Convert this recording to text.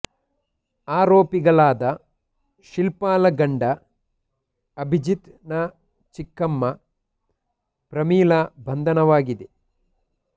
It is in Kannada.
ಆರೋಪಿಗಳಾದ ಶಿಲ್ಪಾಳ ಗಂಡ ಅಭಿಜಿತ್ ನ ಚಿಕ್ಕಮ್ಮ ಪ್ರಮೀಳಾ ಬಂಧನವಾಗಿದೆ